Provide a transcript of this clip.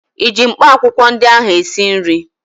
ịji mkpaakwụkwọ ndị ahụ esi nri?